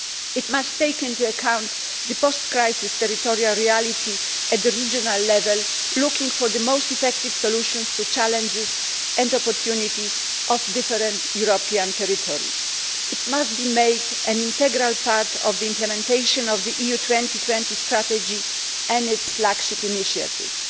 It must take into account the post crisis territorial reality at regional level, looking for the most effective solutions to the challenges and opportunities of different European territories. It must be made an integral part of the implementation of the EU 2020 strategy and its flagship initiatives.